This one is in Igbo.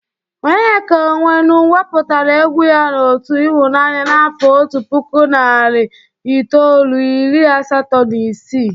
Onyeka Onwenu wepụtara egwu ya 'otu ịhụnaanya' n'afọ otu puku narị itoolu, iiri asató na isii.